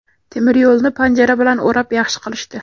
Temiryo‘lni panjara bilan o‘rab yaxshi qilishdi.